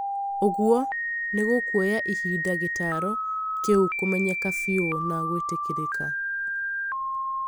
ũgũo, nĩgũkuoya ihinda gĩtaro kĩu kumenyeka biũ na gwitĩkĩrĩka